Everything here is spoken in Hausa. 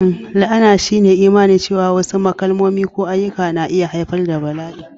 La'ana shine imani cewa wasu kalmomi ko ayyuka na iya haifar da bala'i,